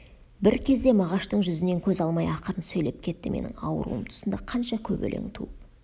бір кезде мағаштың жүзінен көз алмай ақырын сөйлеп кетті менің ауруым тұсында қанша көп өлең туып